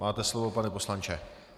Máte slovo, pane poslanče.